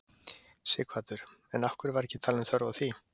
Sighvatur: En af hverju var ekki talin þörf á því?